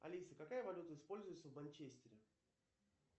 алиса какая валюта используется в манчестере